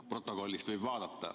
Protokollist võib seda vaadata.